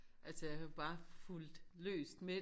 Altså jeg har bare fulgt løst med